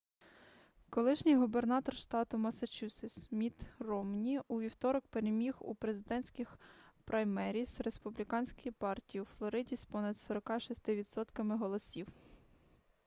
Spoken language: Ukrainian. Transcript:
колишній губернатор штату массачусетс мітт ромні у вівторок переміг у президентських праймеріз республіканської партії у флориді з понад 46 відсотками голосів